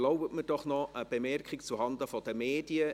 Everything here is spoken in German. Erlauben Sie mir noch eine Bemerkung zuhanden der Medien.